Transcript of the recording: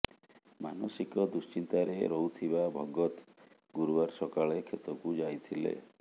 ମାନସିକ ଦୁଶ୍ଚିନ୍ତାରେ ରହୁଥିବା ଭଗତ ଗୁରୁବାର ସକାଳେ କ୍ଷେତକୁ ଯାଇଥିଲେ